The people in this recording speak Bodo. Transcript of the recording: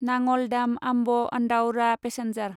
नाङल दाम आम्ब आन्दाउरा पेसेन्जार